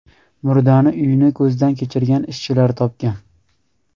Murdani uyni ko‘zdan kechirgan ishchilar topgan.